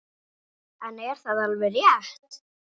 En er það alveg rétt?